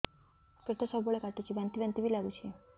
ପେଟ ସବୁବେଳେ କାଟୁଚି ବାନ୍ତି ବାନ୍ତି ବି ଲାଗୁଛି